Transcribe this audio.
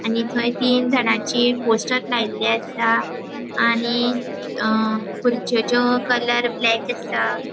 आनी थंय तिन जानाची पोस्टर लायल्ले आसा आनी अ खुरच्योचो कलर ब्लेक आसा.